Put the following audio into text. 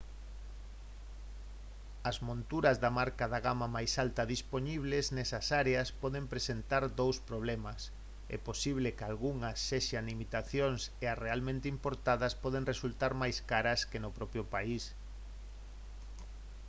as monturas de marca da gama máis alta dispoñibles nesas áreas poden presentar dous problemas é posible que algunhas sexan imitacións e as realmente importadas poden resultar máis caras que no propio país